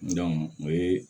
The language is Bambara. o ye